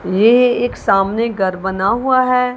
ये एक सामने घर बना हुआ है।